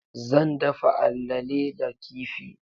Zan dafa allale da kifi.